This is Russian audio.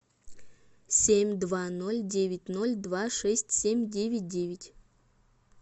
семь два ноль девять ноль два шесть семь девять девять